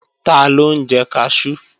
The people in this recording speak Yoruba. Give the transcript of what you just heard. Taló ń jẹ kaṣú?